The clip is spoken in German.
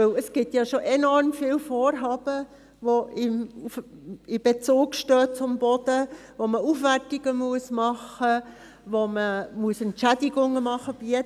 Denn es gibt bereits enorm viele Vorhaben, welche in Bezug stehen zum Boden, wobei Aufwertungen gemacht werden müssen, wo Entschädigungen bezahlt werden müssen.